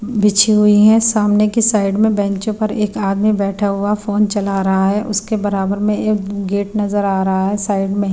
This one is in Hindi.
बिछी हुई है सामने की साइड में बेंचों पर एक आदमी बैठा हुआ फोन चला रहा है उसके बराबर में एक गेट नजर आ रहा है साइड में --